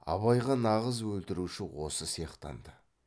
абайға нағыз өлтіруші осы сияқтанды